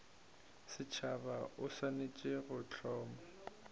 setšhaba o swanetše go hloma